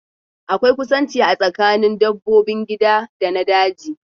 Akwai kusanci a tsakanin dabbobin gida da na daji